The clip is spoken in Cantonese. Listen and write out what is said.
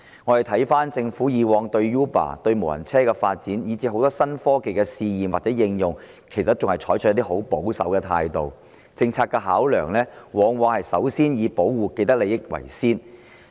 回顧政府以往對 Uber、無人車發展，以至很多新科技的試驗或應用，都是採取很保守的態度，其政策考量往往以保護既得利益者為先。